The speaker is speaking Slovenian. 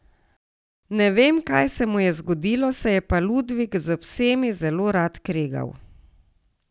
Ne vem, kaj se mu je zgodilo, se je pa Ludvik z vsemi zelo rad kregal.